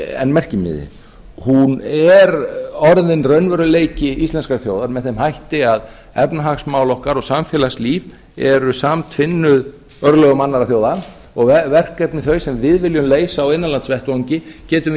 en merkimiði hún er orðin raunveruleiki íslenskrar þjóðar með þeim hætti að efnahagsmál okkar og samfélagslíf eru samtvinnuð örlögum annarra þjóða og verkefni þau sem við viljum leysa á innanlandsvettvangi getum við